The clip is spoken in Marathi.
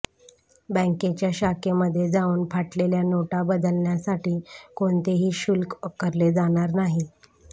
बँकेच्या शाखेमध्ये जाऊन फाटलेल्या नोटा बदलण्यासाठी कोणताही शुल्क आकारले जाणार नाही